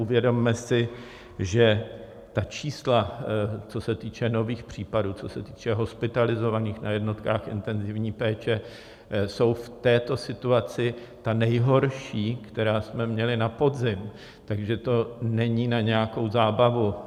Uvědomme si, že ta čísla, co se týče nových případů, co se týče hospitalizovaných na jednotkách intenzivní péče, jsou v této situaci ta nejhorší, která jsme měli na podzim, takže to není na nějakou zábavu.